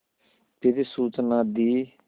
फिर सूचना दी